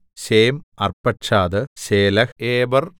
Shem Arphaxad Shelah Eber